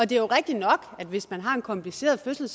det er jo rigtig nok at hvis man har en kompliceret fødsel